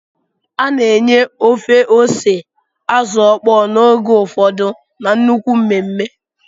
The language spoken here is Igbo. A na-enye ofe ose Azu okpo n'oge ụfọdụ na nnukwu mmemme